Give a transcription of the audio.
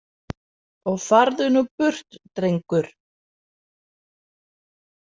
Og farðu nú burt, drengur.